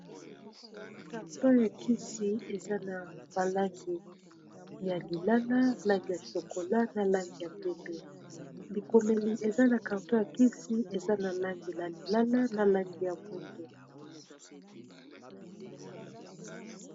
carton ya kisi eza na balangi ya lilala langi ya shokola na langi ya pembe. bikomeli eza na carton ya kisi eza na langi ya lilala na langi ya mwindo